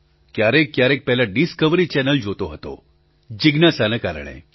ક્યારેક ક્યારેક પહેલા ડિસ્કવરી ચેનલ જોતો હતો જિજ્ઞાસાના કારણે